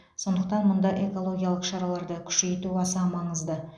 сондықтан мұнда экологиялық шараларды күшейту аса маңызды